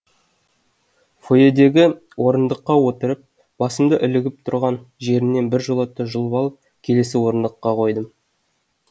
фойедегі орындыққа отырып басымды ілігіп тұрған жерінен біржола жұлып алып келесі орындыққа қойдым